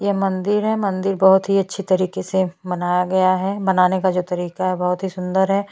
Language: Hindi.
यह मंदिर है मंदिर बहुत ही अच्छी तरीके से मनाया गया है मनाने का जो तरीका है बहुत ही सुंदर है।